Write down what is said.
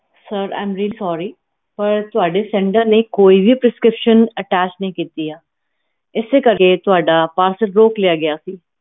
Sir, Iamreallysorry ਪਰ ਤੁਹਾਡੇ sender ਨੇ ਕੋਈ ਵੀ prescriptionattach ਨਹੀਂ ਕੀਤੀ ਹੈ ਜਿਸ ਕਰਕੇ ਤੁਹਾਡਾ parcel ਰੋਕ ਲਿਆ ਗਿਆ ਸੀ